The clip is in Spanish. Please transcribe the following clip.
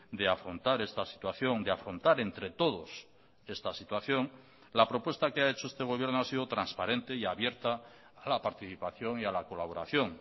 de afrontar esta situación de afrontar entre todos esta situación la propuesta que ha hecho este gobierno ha sido transparente y abierta a la participación y a la colaboración